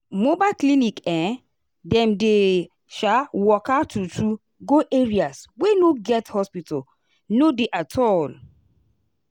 mobile clinic um dem dey um waka true- true go areas wey no get hospital no dey at all.